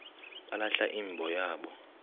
balahla imbo yabo